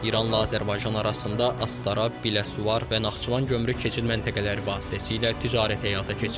İranla Azərbaycan arasında Astara, Biləsuvar və Naxçıvan gömrük keçid məntəqələri vasitəsilə ticarət həyata keçirilir.